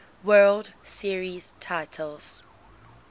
world series titles